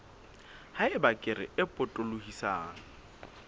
ha eba kere e potolohisang